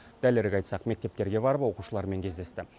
дәлірек айтсақ мектептерге барып оқушылармен кездесті